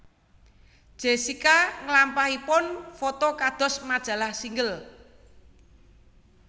Jessica nglampahipun foto kados majalah Single